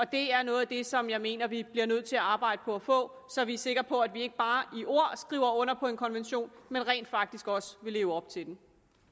det er noget af det som jeg mener vi bliver nødt til at arbejde på at få så vi er sikre på at vi ikke bare i ord skriver under på en konvention men rent faktisk også vil leve op til den